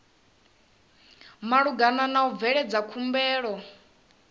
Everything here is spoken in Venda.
malugana na u bveledza khumbelo